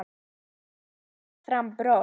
Oddný þvingar fram bros.